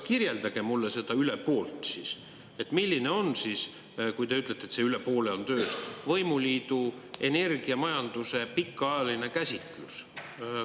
Kirjeldage mulle seda üle poolt siis, milline on siis, kui te ütlete, et see üle poole on töös, võimuliidu energiamajanduse pikaajaline käsitlus.